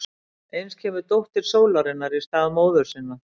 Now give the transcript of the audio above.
Eins kemur dóttir sólarinnar í stað móður sinnar.